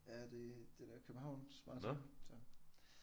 Ja det er det der Københavns maraton så